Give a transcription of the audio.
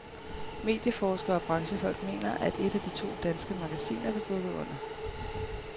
Medieforskere og branchefolk mener, at et af de to danske magasiner vil bukke under.